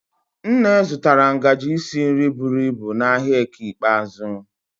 Nne zụtara ngaji isi nri buru ibu n'ahịa eke ikpeazụ.